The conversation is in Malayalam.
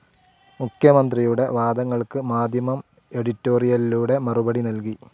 മുഖ്യമന്ത്രിയുടെ വാദങ്ങൾക്ക് മാധ്യമം എഡിറ്റോറിയലിലൂടെ മറുപടി നൽകി.